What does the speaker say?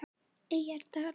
Eyrardal